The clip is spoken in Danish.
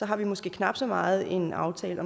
har måske knap så meget en aftale